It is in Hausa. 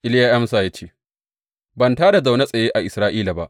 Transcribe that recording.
Iliya ya amsa, ya ce, Ban tā da na zaune tsaye a Isra’ila ba.